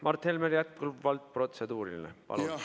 Mart Helmel on jätkuvalt protseduuriline küsimus.